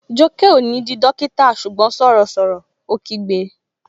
Jọkẹ́ ó ní di dókítà ṣùgbọ́n sọ̀rọ̀ sọ̀rọ̀! Ó kígbe